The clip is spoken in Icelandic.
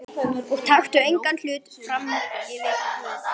Og taktu engan hlut frammyfir Guð.